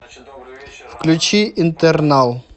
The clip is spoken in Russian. включи интернал